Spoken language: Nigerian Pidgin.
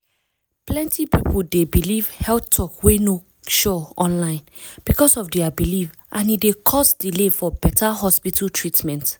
plenty people dey believe health talk wey no sure online because of their belief and e d cause delay for beta hospital treatment.